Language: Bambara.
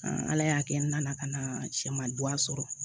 ala y'a kɛ n nana ka na sɛman sɔrɔ